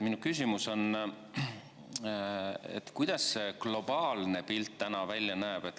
Minu küsimus on, kuidas see globaalne pilt täna välja näeb.